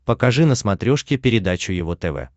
покажи на смотрешке передачу его тв